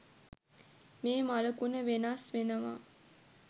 මේ මළකුණ වෙනස් වෙනවා